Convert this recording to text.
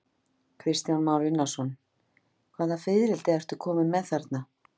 Kristján Már Unnarsson: Hvaða fiðrildi ertu kominn með þarna?